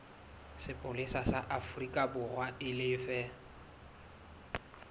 sepolesa sa aforikaborwa e lefe